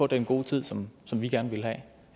den gode tid som som vi gerne ville have